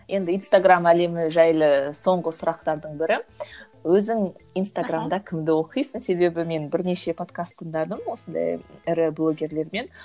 енді инстаграмм әлемі жайлы соңғы сұрақтардың бірі өзің инстаграмда кімді оқисың себебі мен бірнеше подкаст тыңдадым осындай ірі блогерлермен